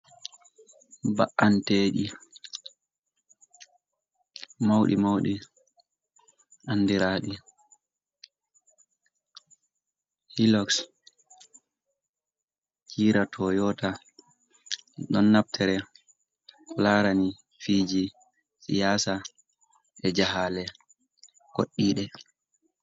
Ba’anteji mauɗi mauɗi andiraɗi hiloks, gira tayota ɗon naftire larani fiji siyasa e jahale koɗɗide.